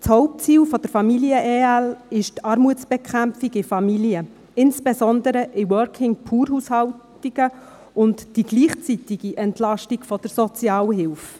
Das Hauptziel der Familien-Ergänzungsleistungen ist die Armutsbekämpfung in Familien, insbesondere in Working-Poor-Haushalten, und die gleichzeitige Entlastung der Sozialhilfe.